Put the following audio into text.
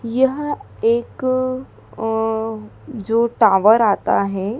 यह एक अह जो टॉवर आता है--